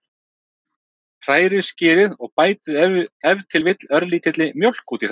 Hrærið skyrið og bætið ef til vill örlítilli mjólk út í það.